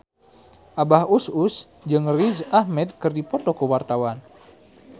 Abah Us Us jeung Riz Ahmed keur dipoto ku wartawan